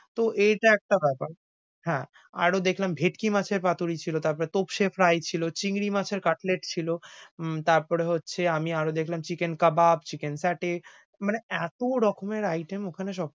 তো এইটা একটা বেপার। হ্যাঁ, আরও দেখলাম ভেটকি মাছের পাতুরি ছিল তারপরে তোপসে fry ছিল চিংড়ি মাছের katlet ছিল। উম তারপরে হচ্ছে আমি আরও দেখলাম chicken কাবাব, chicken fetus মানে এতো রকমের item ওখানে সব।